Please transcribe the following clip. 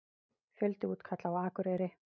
Fjöldi útkalla á Akureyri